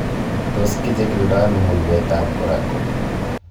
Tos kichikildo mulwetab Urachal?